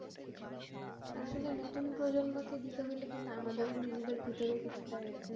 আসলে নতুন প্রজন্মকে দিতে হইলে কিন্তু আমাদেরও নিজেদের ভিতরেও কিছুটা,